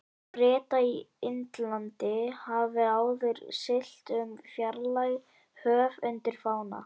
Breta í Indlandi, hafði áður siglt um fjarlæg höf undir fána